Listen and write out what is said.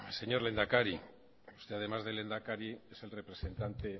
señor lehendakari usted además de lehendakari es el representante